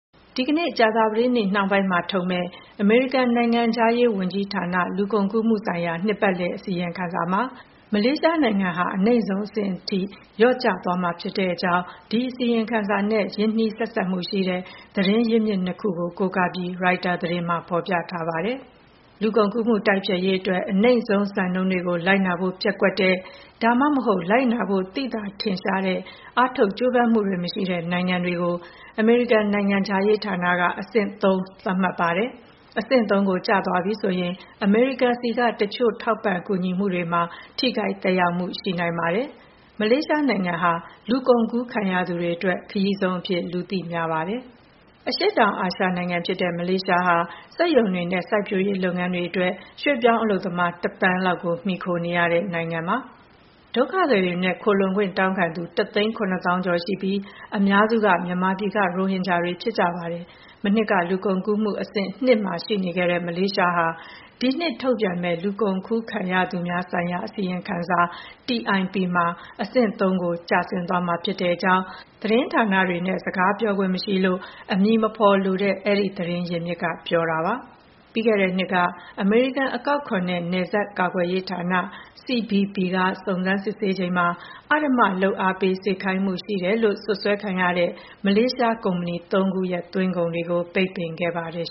ဒီကနေ့ ကြာသပတေးနေ့နှောင်းပိုင်းမှာ ထုတ်ပြန်မယ့် အမေရိကန်နိုင်ငံခြားရေးဝန်ကြီးဌာနရဲ့ လူကုန်ကူးမှုဆိုင်ရာ နှစ်ပတ်လည် အစီရင်ခံစာမှာ မလေးရှားနိုင်ငံဟာ အနိမ့်ဆုံးအဆင့်ထိ လျော့ကျသွားမှာဖြစ်ကြောင်း ဒီအစီရင်ခံစာနဲ့ ရင်းနှီးဆက်စပ်မှုရှိတဲ့ သတင်းရင်းမြစ် ၂ ခုကို ကိုးကားပြီး ရိုက်တာသတင်းမှာ ဖော်ပြထားပါတယ်။ လူကုန်ကူးမှုတိုက်ဖျက်ရေးအတွက် အနိမ့်ဆုံးစံနှုန်းတွေကို လိုက်နာဖို့ပျက်ကွက်တဲ့ ဒါမှမဟုတ် လိုက်နာဖို့ သိသာ ထင်ရှားတဲ့ အားထုတ်ကြိုးပမ်းမှုတွေမရှိတဲ့နိုင်ငံတွေကို နိုင်ငံခြားရေးဌာနက အဆင့် သတ်မှတ်ပါတယ်။ အဆင့် ကို ကျသွားပြီဆိုရင် အမေရိကန်ဆီက တချို့ ထောက်ပံ့ကူညီမှုတွေမှာ ထိခိုက်သက်ရောက်မှုရှိနိုင်ပါတယ်။ မလေးရှားနိုင်ငံဟာ လူကုန်ကူးခံရသူတွေအတွက် ခရီးဆုံးအဖြစ် လူသိများပါတယ်။ အရှေ့တောင်အာရှနိုင်ငံဖြစ်တဲ့ မလေးရှားဟာ စက်ရုံတွေနဲ့စိုက်ပျိုးရေးလုပ်ငန်းတွေအတွက် ရွှေ့ပြောင်းအလုပ်သမား ၁ သန်းလောက်ကို မှီခိုနေရတဲ့နိုင်ငံပါ။ ဒုက္ခသည်တွေနဲ့ ခိုလှုံခွင့်တောင်းခံသူ ၁ သိန်း၊၇ သောင်းကျော် ရှိပြီး အများစုက မြန်မာပြည်က ရိုဟင်ဂျာတွေဖြစ်ကြပါတယ်။ မနှစ်က လူကုန်ကူးမှုအဆင့် ၂ မှာရှိနေခဲ့တဲ့ မလေးရှာဟာ ဒီနှစ်ထုတ်ပြန်မယ့် လူကုန်ကူးခံရသူများ ဆိုင်ရာ အစီရင်ခံစာ မှာ အဆင့် ကိုရောက်သွားမှာဖြစ်ကြောင်း သတင်းဌာနတွေနဲ့စကားပြောခွင့် မရှိတာ ကြောင့် အမည်မဖော်လိုတဲ့ အဲဒီသတင်းရင်းမြစ်က ပြောတာပါ။ ပြီးခဲ့တဲ့နှစ်က အမေရိကန်အကောက်ခွန်နဲ့နပ်စပ်ကာကွယ်ရေး ဌာန CBP က စုံစမ်းစစ်ဆေးချိန်မှာ အဓမ္မလုပ်အားပေးစေခိုင်းမှုရှိတယ်လို့စွပ်စွဲခံရတဲ့ မလေးရှားကုမ္ပဏီ ၃ ခုရဲ့ သွင်းကုန်တွေကို ပိတ်ပင်ခဲ့ပါတယ်